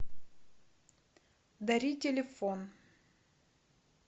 дари телефон